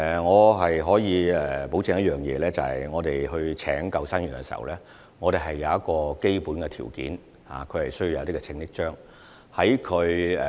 我可以保證一點，在聘用救生員時，我們已訂有基本條件，他們需要持有一些救生章。